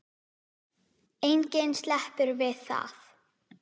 Enginn sleppur við það.